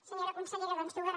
senyora consellera doncs dues